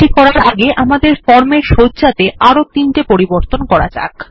এটি করার আগে আমাদের ফর্ম এর সজ্জাতে আরো তিনটি পরিবর্তন করা যাক